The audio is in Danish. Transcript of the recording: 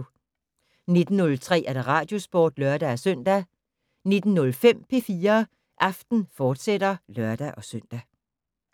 19:03: Radiosporten (lør-søn) 19:05: P4 Aften, fortsat (lør-søn)